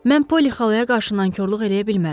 Mən Poli xalaya qarşı nankorluq eləyə bilmərəm.